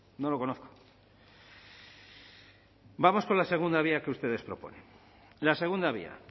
no lo conozco vamos con la segunda vía que ustedes proponen la segunda vía